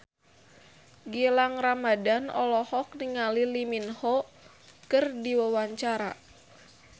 Gilang Ramadan olohok ningali Lee Min Ho keur diwawancara